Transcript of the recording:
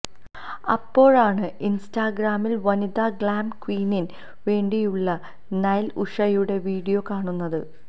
അപ്പോഴാണ് ഇൻസ്റ്റാ ഗ്രാമിൽ വനിത ഗ്ലാം ക്വീനിന് വേണ്ടിയുള്ള നൈല ഉഷയുടെ വിഡിയോ കാണുന്നത്